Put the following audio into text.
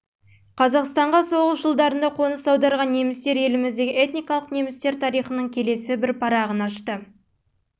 қазақстанға соғыс жылдарында қоныс аударған немістер еліміздегі этникалық немістер тарихының келесі бір парағын ашты